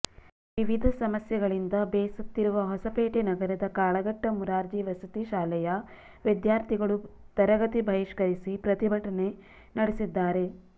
ವಿವಿಧ ಸಮಸ್ಯೆಗಳಿಂದ ಬೇಸತ್ತಿರುವ ಹೊಸಪೇಟೆ ನಗರದ ಕಾಳಗಟ್ಟ ಮುರಾರ್ಜಿ ವಸತಿ ಶಾಲೆಯ ವಿದ್ಯಾರ್ಥಿಗಳು ತರಗತಿ ಬಹಿಷ್ಕರಿಸಿ ಪ್ರತಿಭಟನೆ ನಡೆಸಿದ್ದಾರೆ